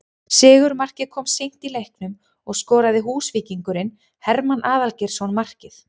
Sigurmarkið kom seint í leiknum og skoraði Húsvíkingurinn Hermann Aðalgeirsson markið